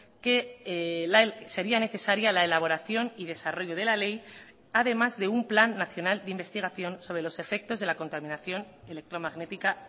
que sería necesaria la elaboración y desarrollo de la ley además de un plan nacional de investigación sobre los efectos de la contaminación electromagnética